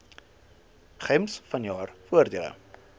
gems jaarlikse voordele